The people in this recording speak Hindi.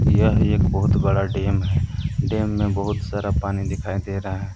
यह एक बहुत बड़ा डैम है डैम में बहुत सारा पानी दिखाई दे रहा है।